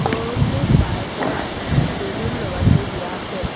শ্ব'ৰুমটোত বাইকত বেলুন লগাই থৈ দিয়া আছে।